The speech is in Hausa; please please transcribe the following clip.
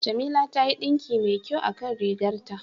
Jamila ta yi ɗinki mai kyau a kan rigar ta.